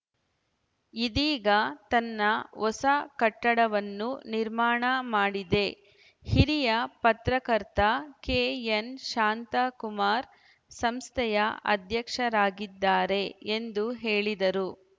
ಇದೀಗ ತನ್ನ ಹೊಸ ಕಟ್ಟಡವನ್ನು ನಿರ್ಮಾಣ ಮಾಡಿದೆ ಹಿರಿಯ ಪತ್ರಕರ್ತ ಕೆಎನ್‌ಶಾಂತಕುಮಾರ್‌ ಸಂಸ್ಥೆಯ ಅಧ್ಯಕ್ಷರಾಗಿದ್ದಾರೆ ಎಂದು ಹೇಳಿದರು